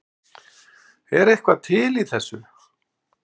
Er eitthvað til í þessu